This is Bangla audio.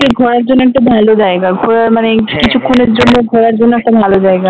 ঘোরার জন্য একটা ভালো জায়গা ঘোরার মানে কিছুক্ষণের জন্য ঘোরার জন্য একটা ভালো জায়গা